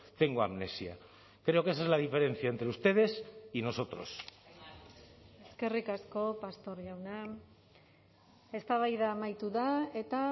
tengo amnesia creo que esa es la diferencia entre ustedes y nosotros eskerrik asko pastor jauna eztabaida amaitu da eta